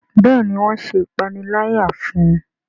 Béèni wón ṣe ìpaniláyà fún.